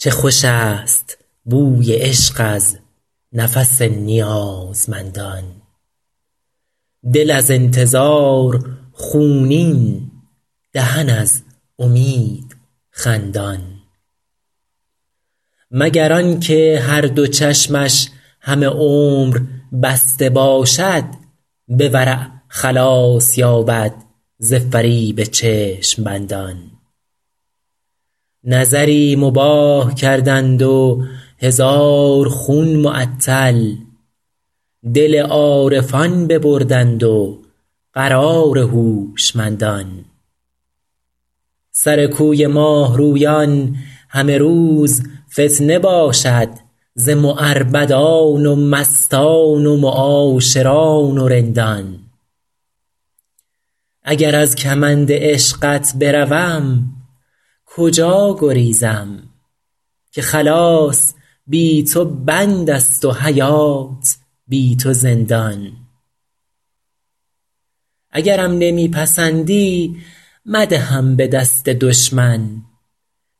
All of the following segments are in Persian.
چه خوش است بوی عشق از نفس نیازمندان دل از انتظار خونین دهن از امید خندان مگر آن که هر دو چشمش همه عمر بسته باشد به ورع خلاص یابد ز فریب چشم بندان نظری مباح کردند و هزار خون معطل دل عارفان ببردند و قرار هوشمندان سر کوی ماه رویان همه روز فتنه باشد ز معربدان و مستان و معاشران و رندان اگر از کمند عشقت بروم کجا گریزم که خلاص بی تو بند است و حیات بی تو زندان اگرم نمی پسندی مدهم به دست دشمن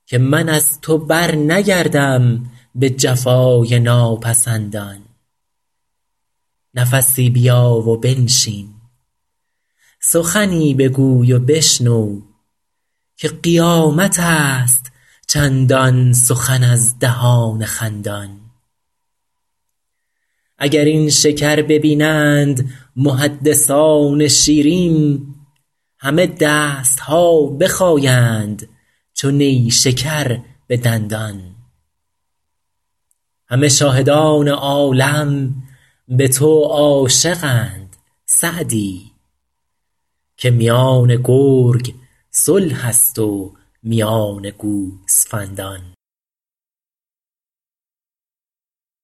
که من از تو برنگردم به جفای ناپسندان نفسی بیا و بنشین سخنی بگوی و بشنو که قیامت است چندان سخن از دهان خندان اگر این شکر ببینند محدثان شیرین همه دست ها بخایند چو نیشکر به دندان همه شاهدان عالم به تو عاشقند سعدی که میان گرگ صلح است و میان گوسفندان